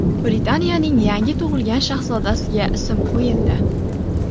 Britaniyaning yangi tug‘ilgan shahzodasiga ism qo‘yildi.